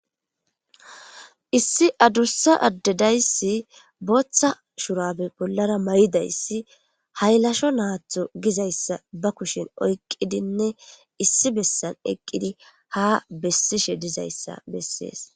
Issi adusa ade daysi bootha shubare bollara mayidaysi haylasho natho gizaysa ba kushen oykidinne issi bessan eqidinne ha bessishe dizaysa besses.